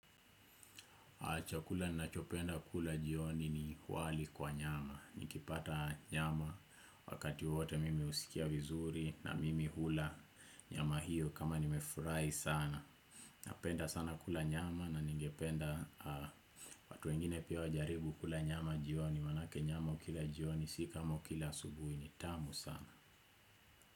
Chakula nina chopenda kula jioni ni wali kwa nyama. Nikipata nyama wakati wote mimi husikia vizuri na mimi hula nyama hiyo kama nimefurahi sana. Napenda sana kula nyama na ningependa watu wengine pia wajaribu kula nyama jioni manake nyama ukila jioni si kama ukila asubuhi ni tamu sana.